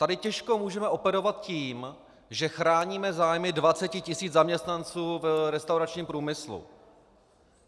Tady těžko můžeme operovat tím, že chráníme zájmy 20 tisíc zaměstnanců v restauračním průmyslu.